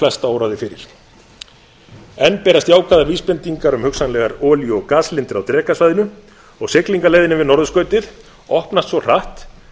en flesta óraði fyrir enn berast jákvæðar vísbendingar um hugsanlegar olíu og gaslindir á drekasvæðinu og siglingaleiðin yfir norðurskautið opnast svo hratt